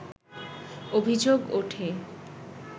অভিযোগ ওঠে